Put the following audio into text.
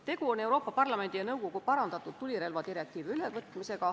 Tegu on Euroopa Parlamendi ja nõukogu parandatud tulirelvadirektiivi ülevõtmisega.